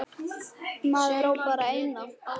Maður á bara eina.